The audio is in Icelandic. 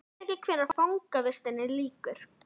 Ég veit ekki hvenær fangavistinni lýkur.